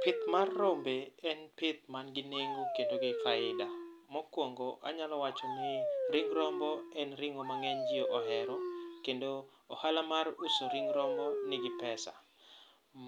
Pith mar rombe en pith manigi nengo kendo gi faida. Mokwongo, anyalo wacho ni, ring rombo en ring'o ma ng'eny ji ohero, kendo ohala mar uso ring rombo nigi pesa.